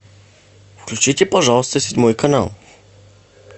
включите пожалуйста седьмой канал